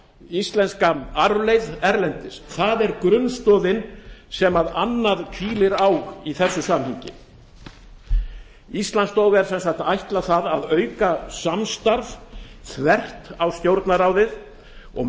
íslenska arfleifð erlendis það er grunnstoðin sem annað hvílir á í þessu samhengi íslandsstofu er sem sagt ætlað að auka samstarf þvert á stjórnarráðið og